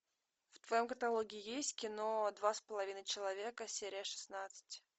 в твоем каталоге есть кино два с половиной человека серия шестнадцать